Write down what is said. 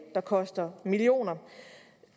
der koster millioner